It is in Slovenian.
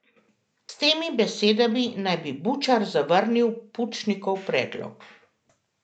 S temi besedami naj bi Bučar zavrnil Pučnikov predlog.